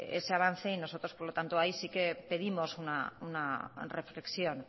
ese avance y nosotros por lo tanto ahí sí que pedimos una reflexión